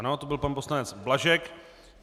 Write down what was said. Ano, to byl pan poslanec Blažek.